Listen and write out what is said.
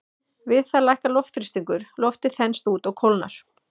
Við það lækkar loftþrýstingur, loftið þenst út og kólnar.